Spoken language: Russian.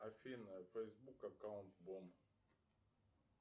афина фейсбук аккаунт бомб